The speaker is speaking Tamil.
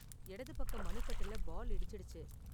இடது பக்க மணிக்கட்டுல பால் இடிச்சிடுச்சு.